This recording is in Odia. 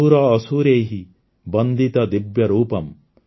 ସୁର ଅସୁରୈଃ ବନ୍ଦିତ ଦିବ୍ୟରୂପମ୍